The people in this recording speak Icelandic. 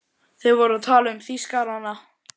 Þeir voru að tala um Þýskarana!